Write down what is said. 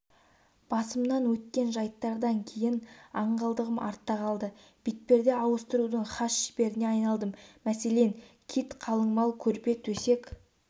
басымнан өткен жайттардан кейін аңғалдығым артта қалды бетперде ауыстырудың хас шеберіне айналдым мәселен кит қалыңмал көрпе-төсек